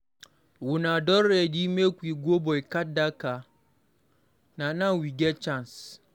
Una don ready make we go boycott dat car, na now we get chance.